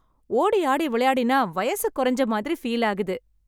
ஓடி ஆடி விளையாடினா வயசு குறைஞ்ச மாதிரி ஃபீல் ஆகுது.